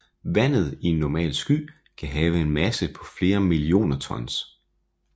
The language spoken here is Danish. Vandet i en normal sky kan have en masse på flere millioner tons